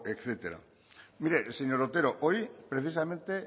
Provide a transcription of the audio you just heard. etcétera mire señor otero hoy precisamente